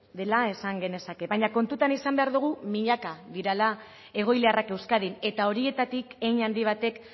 dela esan genezake baina kontutan izan behar dugu milaka direla egoiliarrak euskadin eta horietatik hein handi batek